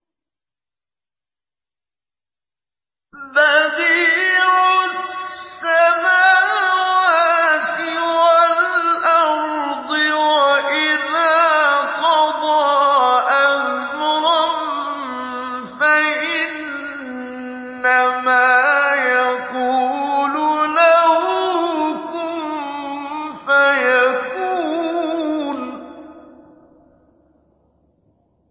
بَدِيعُ السَّمَاوَاتِ وَالْأَرْضِ ۖ وَإِذَا قَضَىٰ أَمْرًا فَإِنَّمَا يَقُولُ لَهُ كُن فَيَكُونُ